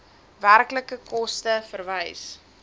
werklike koste verwys